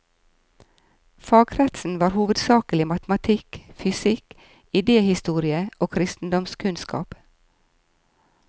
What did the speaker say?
Fagkretsen var hovedsakelig matematikk, fysikk, idéhistorie og kristendomskunnskap.